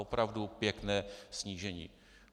Opravdu pěkné snížení!